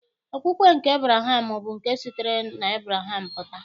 Okpukpe nke Ebraham bụ nke sitere n'Ebreham pụta.